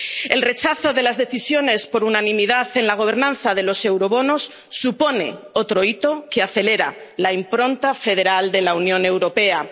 El rechazo de las decisiones por unanimidad en la gobernanza de los eurobonos supone otro hito que acelera la impronta federal de la Unión Europea.